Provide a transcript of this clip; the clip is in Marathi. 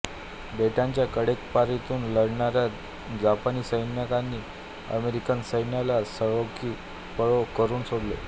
बेटाच्या कडेकपारींतून लढणाऱ्या जपानी सैनिकांनी अमेरिकन सैन्याला सळो की पळो करून सोडले